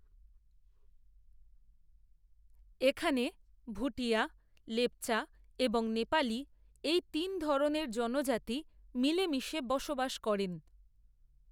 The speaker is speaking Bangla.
এখানে ভুটিয়া, লেপচা এবং নেপালী এই তিন ধরনের জনজাতিই মিলেমিশে বসবাস করেন